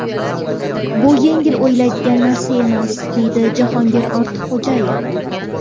Bu yengil o‘ylaydigan narsa emas”, – deydi Jahongir Ortiqxo‘jayev.